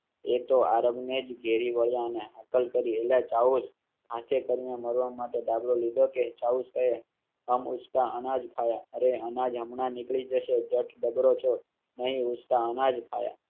એ તો આરબ ને ઘેરી વળ્યા ને હાકલ કરી એલા ચલાવો હાથે કરી ને મરવા માટે. ઉસકા અનાજ ખાય રે અનાજ હમણાં નીકળી જશે. જ જબરો છો નહીં. ઉસકા અનાજ ખાય.